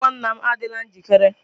Akwụkwọ nna m adịla njikere.